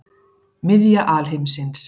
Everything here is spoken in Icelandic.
Miðja alheimsins.